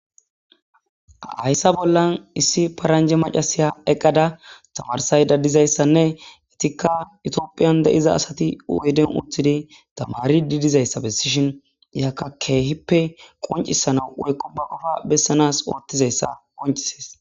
hayssa bollan issi paranje macasiya eqqada tamarisayfa dizayssanne etikka itiophiyan de7iza asati u7eden uttidi tamari di dizayssa bessishin iyakka keehippe qoncisana wurekko ba qofa bessanas oottizayssa qoncisees